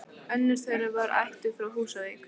Önnur þeirra var ættuð frá Húsavík.